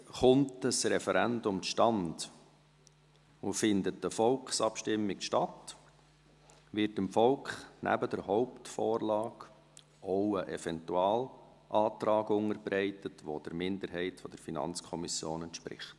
] Kommt ein Referendum zustande und findet eine Volksabstimmung statt, wird dem Volk neben der Hauptvorlage auch ein Eventualantrag unterbreitet, welcher der Minderheit der Finanzkommission entspricht.